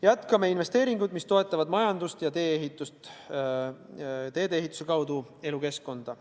Jätkame investeeringuid, mis toetavad majandust ja teede ehitust ning selle kaudu elukeskkonda.